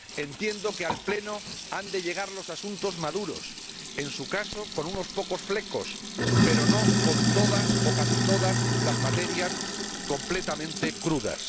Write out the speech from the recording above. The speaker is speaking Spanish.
Entiendo que al Pleno han de llegar los asuntos maduros, en su caso con unos pocos flecos, pero no con todas o casi todas las materias completamente crudas.